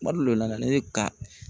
Kuma dɔ o la ne ka